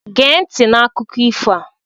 Géé nti n' akụkọ ifo a!